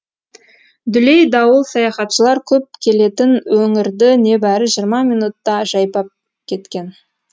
дүлей дауыл саяхатшылар көп келетін өңірді небәрі жиырма минутта жайпап кеткен